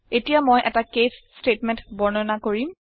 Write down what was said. এতিয়া মই এটা কেচ স্তেটমেন্ট বৰ্ণনা কৰিম